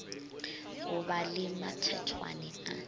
go ba le mathethwane a